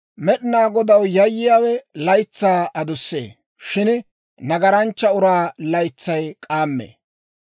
Med'inaa Godaw yayyiyaawe laytsaa adussee; shin nagaranchcha uraa laytsay k'aammee.